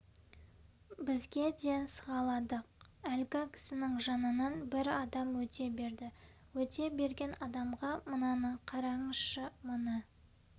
біз де сығаладық әлгі кісінің жанынан бір адам өте берді өте берген адамға мынаны қараңызшы мына